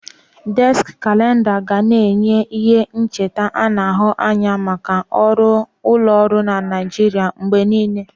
Déski Kalenda ga na-enye ihe ncheta ana ahu anya maka ọrụ ụlọọrụ na Naijiria mgbe niile.